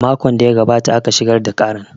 Makon da ya gabata aka shigar da karan